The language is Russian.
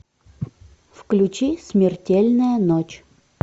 включи смертельная ночь